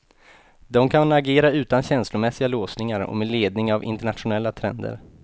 De kan agera utan känslomässiga låsningar och med ledning av internationella trender.